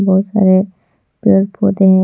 बहुत सारे पेड़ पौधे है।